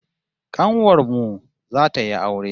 Kanuwar mu zata yi aure